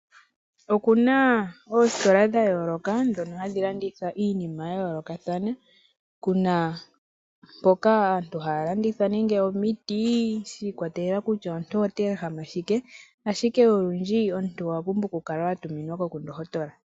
Oku na oositola dha yooloka dhono hadhi landitha iinima ya yoolokathana. Ku na mpoka aantu haya landitha nenge omiti, shi ikwatelela kutya omuntu ota ehama shike. Ashike olundji omuntu owa pumbwa okukala wa tuminwako ku ndohotola.